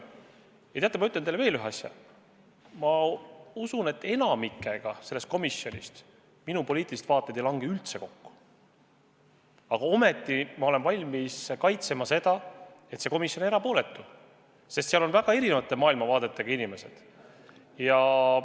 Aga teate, ma ütlen teile veel üht asja: ma usun, et enamikuga sellest komisjonist minu poliitilised vaated ei lange üldse kokku, ent ometi ma olen valmis kaitsma seisukohta, et see komisjon on erapooletu, sest seal on väga erineva maailmavaatega inimesed.